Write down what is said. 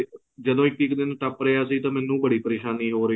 ਜਦੋਂ ਇੱਕ ਇੱਕ ਦਿਨ ਟੱਪ ਰਿਹਾ ਸੀ ਮੈਨੂੰ ਬੜੀ ਪਰੇਸ਼ਾਨੀ ਹੋ ਹੀ ਸੀ